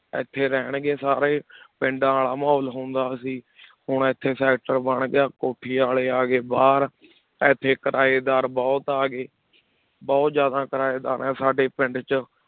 ਇੱਥੇ ਰਹਿਣਗੇ ਸਾਰੇ ਪਿੰਡਾਂ ਵਾਲਾ ਮਾਹੌਲ ਹੁੰਦਾ ਸੀ ਹੁਣ ਇੱਥੇ sector ਬਣ ਗਿਆ, ਕੋਠੀ ਵਾਲੇ ਆ ਗਏ ਬਾਹਰ ਇੱਥੇ ਕਿਰਾਏਦਾਰ ਬਹੁਤ ਆ ਗਏ, ਬਹੁਤ ਜ਼ਿਆਦਾ ਕਿਰਾਏਦਾਰ ਹੈ ਸਾਡੇ ਪਿੰਡ 'ਚ।